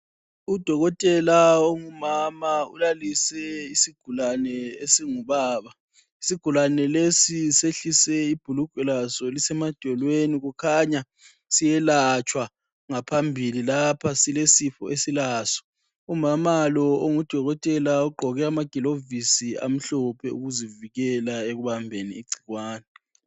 Udokotela ongumama ulalise isigulane esingubaba. Isigulane lesi sehlise ibhulugwe laso lise madolweni. Kukhanya siye latshwa ngaphambili lapha silesifo esilaso. Umama lo ongudokotela ugqoke ama gilokivisi amhlophe ukuzivikela ekubambeni igcikwane